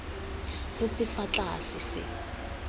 se se fa tlase se